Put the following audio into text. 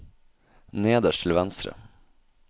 nederst til venstre